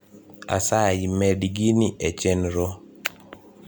asayi medi gini e chenro